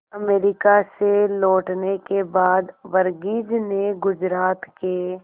America से लौटने के बाद वर्गीज ने गुजरात के